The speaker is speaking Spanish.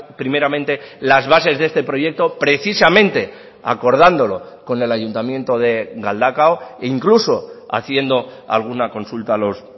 primeramente las bases de este proyecto precisamente acordándolo con el ayuntamiento de galdakao e incluso haciendo alguna consulta a los